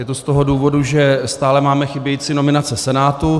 Je to z toho důvodu, že stále máme chybějící nominace Senátu.